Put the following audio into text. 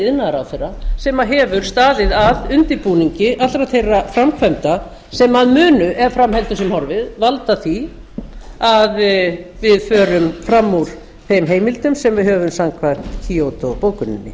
iðnaðarráðherra sem hefur staðið að undirbúningi allra þeirra framkvæmda sem munu ef fram heldur sem horfir valda því að við förum fram úr þeim heimildum sem við höfum samkvæmt kýótó bókuninni